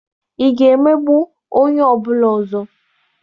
Ị ga-emegbu onye ọ bụla ọzọ?